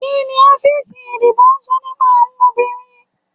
Kíni òfin ìdìbò sọ nípa àwọn obìnrin?